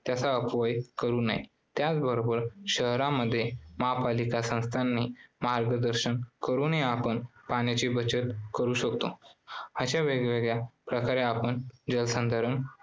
त्याचा अपव्यय करू नये. त्याचबरोबर शहरामध्ये महापालिका संस्थांना मार्गदर्शन करूनही आपण पाण्याची बचत करू शकतो. अश्या वेगवेगळ्या प्रकारे आपण जलसंधारण